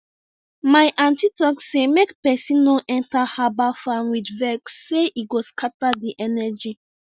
my aunty talk say make person no enter herbal farm with vex sey e go scatter the energy